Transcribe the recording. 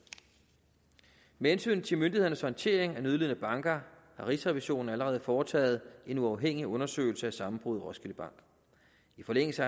med hensyn til myndighedernes håndtering af nødlidende banker har rigsrevisionen allerede foretaget en uafhængig undersøgelse af sammenbruddet i roskilde bank i forlængelse